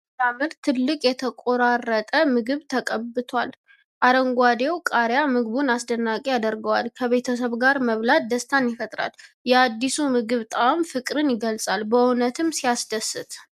ዋው ሲያምር! ትልቅ የተቆራረጠ ምግብ ተቀብቷል። አረንጓዴው ቃሪያ ምግቡን አስደናቂ ያደርገዋል። ከቤተሰብ ጋር መብላት ደስታን ይፈጥራል። የአዲሱ ምግብ ጣዕም ፍቅርን ይገልጻል። በእውነትም ሲያስደስት!